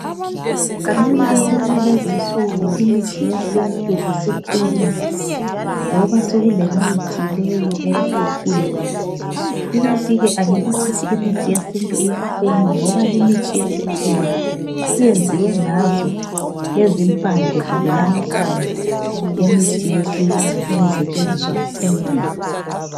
Kancane kancane lezinsuku imithi yesintu isiphuma ngoba sokulemithi leyi eyesikhiwa ikantike angeke sithi imithi yesintu iyaphuma ngoba limithi yesikhiwa iyenziwe ngazo lezimpande kumbe lamahlamvu yemithi yesintu eyayisetshenziswa endulo.